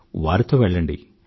వారితో వెళ్ళండి